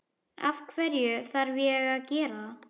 Af hverju þarf ég að gera það?